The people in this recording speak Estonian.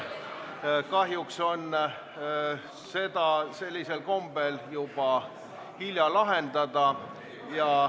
Kahjuks on seda sellisel kombel juba hilja lahendada.